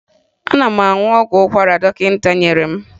Ana m aṅụ ọgwụ ụkwara dọkịta nyere m